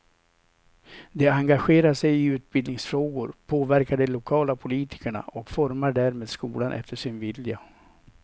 De engagerar sig i utbildningsfrågor, påverkar de lokala politikerna och formar därmed skolan efter sin vilja.